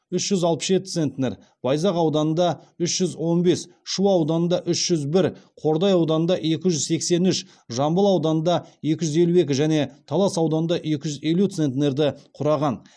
үш жүз алпыс жеті центнер байзақ ауданында үш жүз он бес шу ауданында үш жүз бір қордай ауданында екі жүз сексен үш жамбыл ауданында екі жүз елу екі және талас ауданында екі жүз елу центнерді құраған